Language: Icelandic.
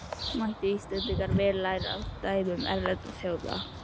Mættu Íslendingar vel læra af dæmum erlendra þjóða.